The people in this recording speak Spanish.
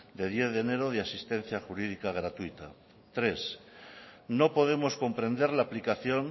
de diez de enero de asistencia jurídica gratuita tres no podemos comprender la aplicación